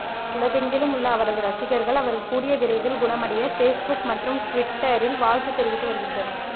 உலகெங்கிலும் உள்ள அவரது ரசிகர்கள் அவர் கூடியவிரைவில் குணமடைய ஃபேஸ்புக் மற்றும் டுவிட்டரில் வாழ்த்து தெரிவித்து வருகின்றனர்